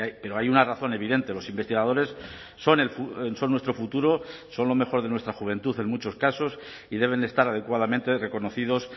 pero hay una razón evidente los investigadores son nuestro futuro son lo mejor de nuestra juventud en muchos casos y deben estar adecuadamente reconocidos